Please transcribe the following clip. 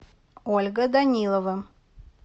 ольга данилова